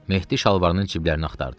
Mehdi şalvarının cibləri axtardı.